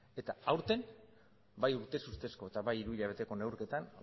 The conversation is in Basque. eta aurten bai urtez urtezko eta bai hiruhilabeteko neurketan